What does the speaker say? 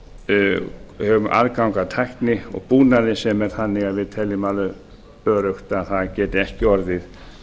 við höfum aðgang að tækni og búnaði sem er þannig að við teljum alveg öruggt að það geti ekki orðið